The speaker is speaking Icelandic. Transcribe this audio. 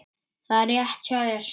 Það er rétt hjá þér.